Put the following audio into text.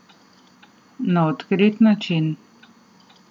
Na odkrit način.